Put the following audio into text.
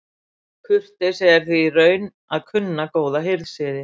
Kurteisi er því í raun að kunna góða hirðsiði.